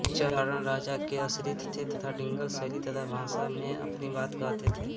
चारण राजा के आश्रित थे तथा डिंगल शैली तथा भाषा में अपनी बात कहते थे